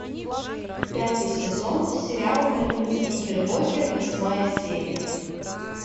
пятый сезон сериал больница никербокер восьмая серия